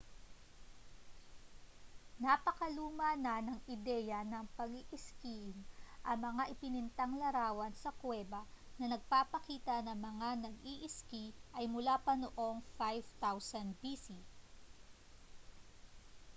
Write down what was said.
napakaluma na ng ideya ng pag-iiskiing — ang mga ipinintang larawan sa kuweba na nagpapakita ng mga nag-iiski ay mula pa noong 5000 bc!